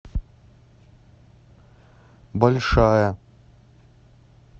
большая